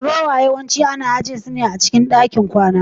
wardrobes yawanci ana ajiye su a cikin ɗakin kwana